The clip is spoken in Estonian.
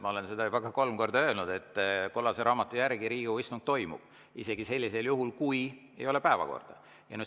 Ma olen seda juba kolm korda öelnud, et kollase raamatu järgi Riigikogu istung toimub isegi sellisel juhul, kui ei ole päevakorda.